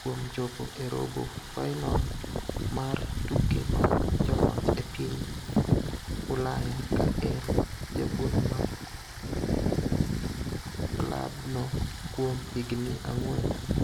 kuom chopo e robo fainol mar tuke mag joloch e piny Ulaya ka en japuonj mar kla no kuom higni ang'wen.